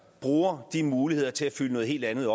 bruger de muligheder til at fylde noget helt andet